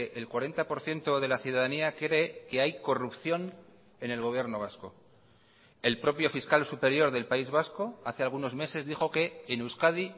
el cuarenta por ciento de la ciudadanía cree que hay corrupción en el gobierno vasco el propio fiscal superior del país vasco hace algunos meses dijo que en euskadi